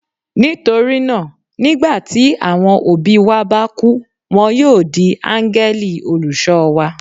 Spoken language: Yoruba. Nítorí náà, nígbà tí àwọn òbí wa bá kú, wọn yóò di áńgẹ́lì olùṣọ́ wa.